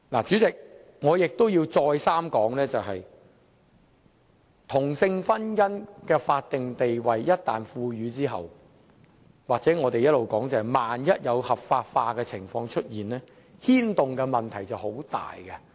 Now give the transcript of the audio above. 主席，我亦要再三說明，同性婚姻一旦獲賦予法定地位，或正如我們一直所說，一旦出現合法化的情況，所牽動的問題便很大。